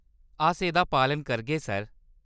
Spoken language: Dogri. अस एह्‌‌‌दा पालन करगे, सर।